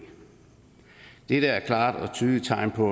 dette er et klart og tydeligt tegn på